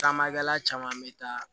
Caman kɛla caman bɛ taa